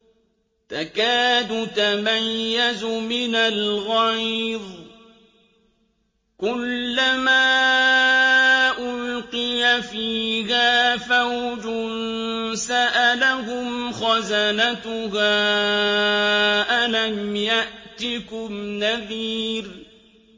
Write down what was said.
تَكَادُ تَمَيَّزُ مِنَ الْغَيْظِ ۖ كُلَّمَا أُلْقِيَ فِيهَا فَوْجٌ سَأَلَهُمْ خَزَنَتُهَا أَلَمْ يَأْتِكُمْ نَذِيرٌ